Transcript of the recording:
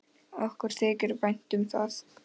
Okkur þykir vænt um það.